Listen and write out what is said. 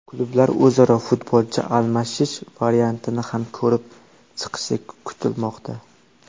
Klublar o‘zaro futbolchi almashish variantini ham ko‘rib chiqishi kutilmoqda.